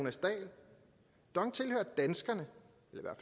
ganske